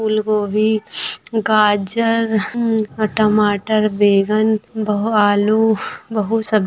--फूलगोभी गाज़र हम्म टमाटर बैगन बहु-- आलू बहुत सा--